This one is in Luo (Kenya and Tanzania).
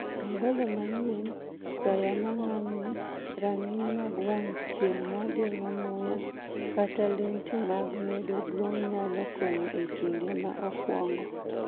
Angolo manyien, taya mang'ang' ni, rang'iny mag wang' chieng' ma geng'o muya, kata lenti mag medo duong' nyalo konyo e kinde ma okuongo